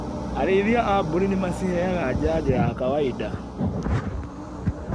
Arĩithia a mbũri nĩmaciheaga janjo ya kawainda.